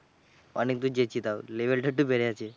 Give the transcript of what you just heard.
অনেক দূর গেছি তাও। Level টা একটু বেড়েছে।